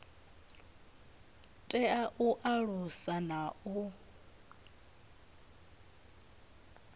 tea u alusa na u